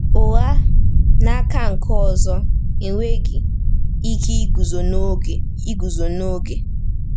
Ụgha, n’aka nke ọzọ, enweghị ike iguzo n’oge. iguzo n’oge.